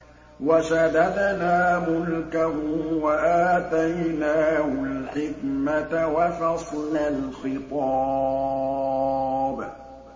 وَشَدَدْنَا مُلْكَهُ وَآتَيْنَاهُ الْحِكْمَةَ وَفَصْلَ الْخِطَابِ